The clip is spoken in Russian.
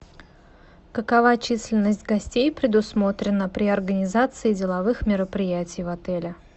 какова численность гостей предусмотрена при организации деловых мероприятий в отеле